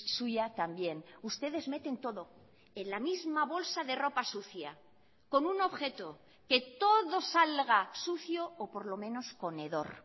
suya también ustedes meten todo en la misma bolsa de ropa sucia con un objeto que todo salga sucio o por lo menos con hedor